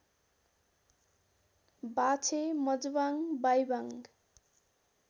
बाछे मजबाङ बाइबाङ